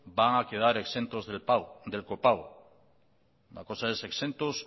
van a quedar exentos del copago la cosa es exentos